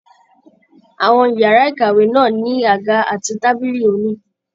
Àwọn yàrá ìkàwé náà ní àga àti tábìlì onígi.